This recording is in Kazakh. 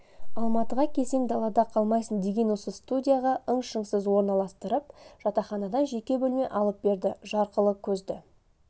алматыға келсең далада қалмайсың деген осы студияға ың-шыңсыз орналастырып жатақханадан жеке бөлме алып берді жарқылы көзді